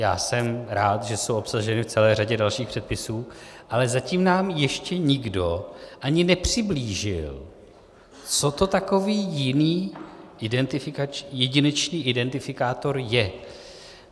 Já jsem rád, že jsou obsaženy v celé řadě dalších předpisů, ale zatím nám ještě nikdo ani nepřiblížil, co to takový jiný jedinečný identifikátor je.